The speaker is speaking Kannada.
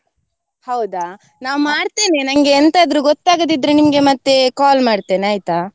ಹೌದಾ? ನಾ ಮಾಡ್ತೇನೆ, ನಂಗೆ ಎಂತಾದ್ರೂ ಗೊತ್ತಾಗದಿದ್ರೆ ನಿಮ್ಗೆ ಮತ್ತೆ call ಮಾಡ್ತೇನೆ ಆಯ್ತಾ?